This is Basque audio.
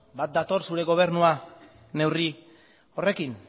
bat dator zure gobernua neurri horrekin